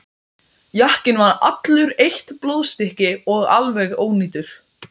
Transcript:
Jakkinn var allur eitt blóðstykki og alveg ónýtur.